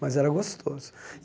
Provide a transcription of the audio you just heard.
Mas era gostoso.